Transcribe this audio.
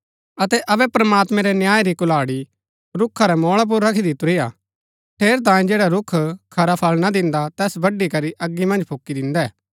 अतै अबै प्रमात्मैं रै न्याय री कुहाड़ी रूखा रै मोळा पुर रखी दितुरी हा ठेरै तांयें जैडा रूख खरा फळ ना दिन्दा तैस बड्‍ड़ी करी अगी मन्ज फूकी दिन्दै